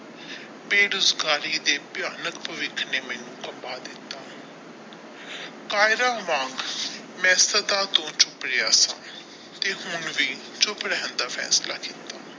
ਬੇਰੋਜ਼ਗਾਰੀ ਦੇ ਭਿਆਨਕ ਭੱਵਿਖ ਨੇ ਮੈਨੂੰ ਖਾਪਾ ਦਿੱਤਾ ਕਾਯਰਾ ਵਾਂਗ ਮੈਂ ਤੋਂ ਛੁੱਪ ਰਿਹਾ ਸਾ ਤੇ ਹੁਣ ਵੀ ਚੁੱਪ ਰਹਿਣ ਦਾ ਫੈਸਲਾ ਕਿੱਤਾ।